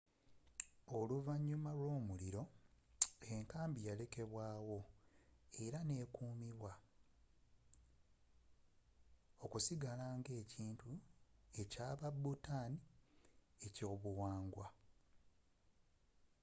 oluvanyuma lwo'muliro the fortress yalekebwa wo era ne kumibwa okusigala nga ekintu kya ba bhutan's eky'obyobuwangwa